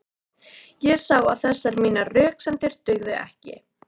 Ég sá að þessar mínar röksemdir dugðu ekki.